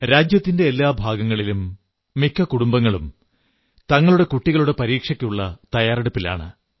രാജ്യത്തിന്റെ എല്ലാ ഭാഗങ്ങളിലും മിക്ക കുടുംബങ്ങളും തങ്ങളുടെ കുട്ടികളുടെ പരീക്ഷയ്ക്കുള്ള തയ്യാറെടുപ്പിലാണ്